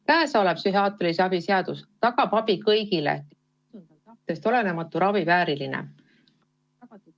Käesolev psühhiaatrilise abi seaduse muutmise eelnõu tagab abi kõigile, kelle seisund on tahtest olenematu ravi vääriline.